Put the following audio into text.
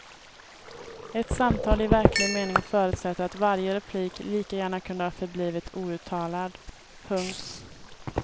Ett samtal i verklig mening förutsätter att varje replik lika gärna kunde ha förblivit outtalad. punkt